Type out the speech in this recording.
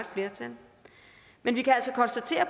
flertal men vi kan altså konstatere